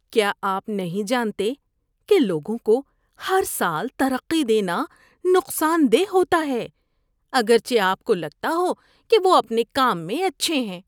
کیا آپ نہیں جانتے کہ لوگوں کو ہر سال ترقی دینا نقصان دہ ہوتا ہے اگرچہ آپ کو لگتا ہو کہ وہ اپنے کام میں اچھے ہیں؟